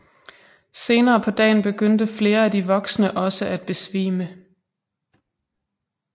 Senere på dagen begyndte flere af de voksne også at besvime